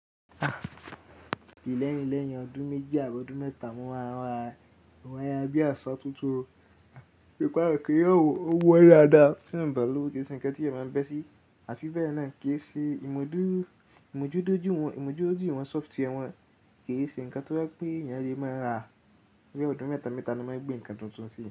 Léyìn lẹ́yìn ọdún méjì àbọ́ ọdún mẹ́ta mo máa ra waya bí àsọ tuntun. Ó gbá keyan wo, ó wọ́n dáadáa beeyan o ba lowo kí ṣe ǹkan tí èèyàn máa ń bẹ́ sí. Àfi bẹ́ẹ̀ náà kì í ṣe ìmójútó ìwọ̀n sófùtì wọn kì í ṣe ǹkan tó jẹ́ pé èèyàn lè máa ra. Ní ọdún mẹ́ta mẹ́ta ni wọ́n máa gbé ǹkan tuntun sí.